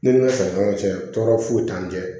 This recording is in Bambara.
Ne ni n ka sanw tɛ tɔɔrɔ foyi t'an cɛ